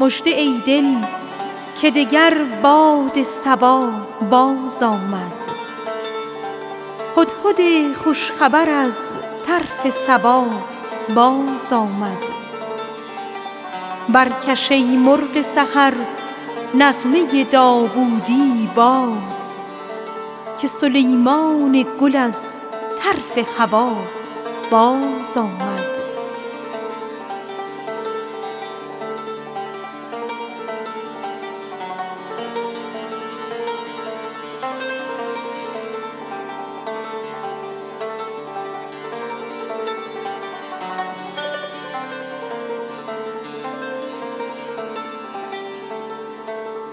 مژده ای دل که دگر باد صبا بازآمد هدهد خوش خبر از طرف سبا بازآمد برکش ای مرغ سحر نغمه داوودی باز که سلیمان گل از